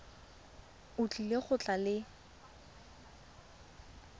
o tlile go tla le